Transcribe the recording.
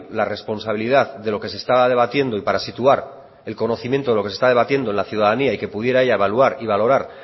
la responsabilidad de lo que se estaba debatiendo y para situar el conocimiento de lo que se está debatiendo en la ciudadanía y que pudiera ya evaluar y valorar